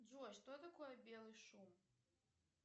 джой что такое белый шум